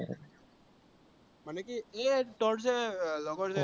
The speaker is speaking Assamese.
মানে কি এৰ তোৰ যে লগৰ যে